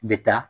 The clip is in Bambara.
N bɛ taa